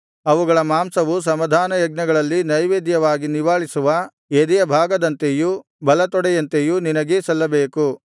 ಅವುಗಳ ಮಾಂಸವು ಸಮಾಧಾನಯಜ್ಞಗಳಲ್ಲಿ ನೈವೇದ್ಯವಾಗಿ ನಿವಾಳಿಸುವ ಎದೆಯ ಭಾಗದಂತೆಯೂ ಬಲತೊಡೆಯಂತೆಯೂ ನಿನಗೇ ಸಲ್ಲಬೇಕು